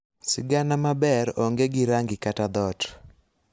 Sigana maber onge gi rangi kata dhot.